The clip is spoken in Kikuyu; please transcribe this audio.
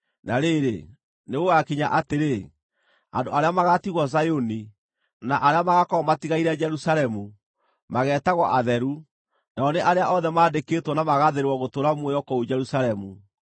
Na rĩrĩ, nĩgũgakinya atĩrĩ, andũ arĩa magaatigwo Zayuni, na arĩa magaakorwo matigaire Jerusalemu, mageetagwo atheru, nao nĩ arĩa othe maandĩkĩtwo na magaathĩrĩrwo gũtũũra muoyo kũu Jerusalemu.